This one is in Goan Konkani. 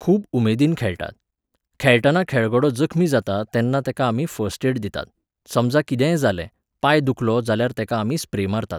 खूब उमेदीन खेळटात. खेळतना खेळगडो जखमी जाता तेन्ना तेका आमी फस्ट एड दितात, समजा कितेंय जालें, पांय दुखलो जाल्यार तेका आमी स्प्रे मारतात